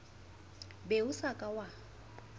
be o sa ka wa